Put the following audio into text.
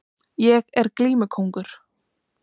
Ég er glímukóngur